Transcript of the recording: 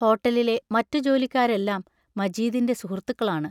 ഹോട്ടലിലെ മറ്റു ജോലിക്കാരെല്ലാം മജീദിന്റെ സുഹൃത്തുക്കളാണ്.